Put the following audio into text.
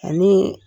Ani